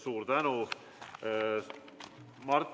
Suur tänu!